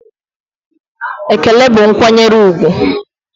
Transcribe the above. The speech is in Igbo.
Ekele bụ nkwanyere úgwù